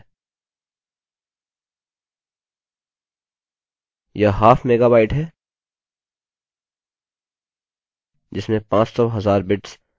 यह half megabyte है जिसमें पाँच सौ हजार बिट्स माफ कीजिए बाइट्स हैं मुझे लगता है कि मैंने गलती कर दी है और मैंने बाइट के बजाय बिट्स कह दिया है